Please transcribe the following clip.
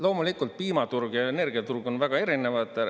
Loomulikult piimaturg ja energiaturg on väga erinevad.